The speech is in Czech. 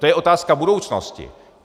To je otázka budoucnosti.